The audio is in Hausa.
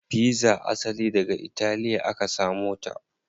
Pizza asali daga italiya aka samo ta.